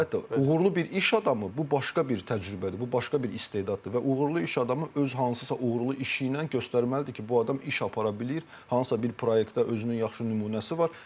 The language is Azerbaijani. Əlbəttə, uğurlu bir iş adamı, bu başqa bir təcrübədir, bu başqa bir istedaddır və uğurlu iş adamı öz hansısa uğurlu işi ilə göstərməlidir ki, bu adam iş apara bilir, hansısa bir proyektdə özünün yaxşı nümunəsi var.